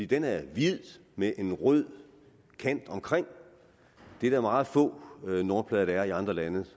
den er hvid med en rød kant omkring det er der meget få nummerplader i andre lande